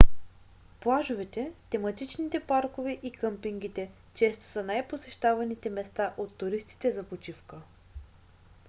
плажовете тематичните паркове и къмпингите често са най-посещаваните места от туристите за почивка